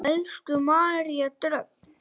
Elsku María Dröfn.